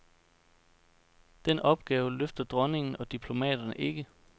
Den opgave løfter dronningen og diplomaterne ikke.